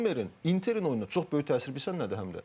Və Zommerin Interin oyuna çox böyük təsiri bilirsən nədir həmdə?